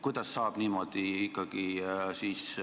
Kuidas ikkagi niimoodi saab?